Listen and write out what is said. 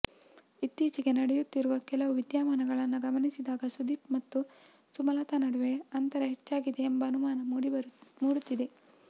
ಇತ್ತೀಚಿಗೆ ನಡೆಯುತ್ತಿರುವ ಕೆಲವು ವಿದ್ಯಮಾನಗಳನ್ನ ಗಮನಿಸದಾಗ ಸುದೀಪ್ ಮತ್ತು ಸುಮಲತಾ ನಡುವೆ ಅಂತರ ಹೆಚ್ಚಾಗಿದೆ ಎಂಬ ಅನುಮಾನ ಮೂಡುತ್ತಿದೆ